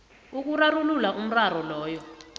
ukurarulula umraro loyo